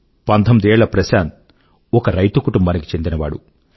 19 ఏళ్ల ప్రశాంత్ ఒక రైతు కుటుంబానికి చెందిన వాడు